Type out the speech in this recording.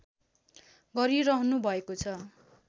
गरिरहनुभएको छ